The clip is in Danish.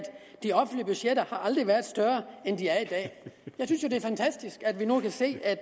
de offentlige budgetter aldrig har været større end de er i dag jeg synes jo det er fantastisk at vi nu kan se at